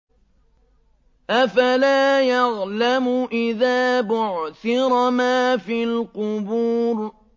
۞ أَفَلَا يَعْلَمُ إِذَا بُعْثِرَ مَا فِي الْقُبُورِ